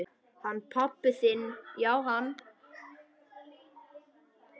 Hann pabbi þinn já, hann.